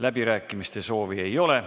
Läbirääkimiste soovi ei ole.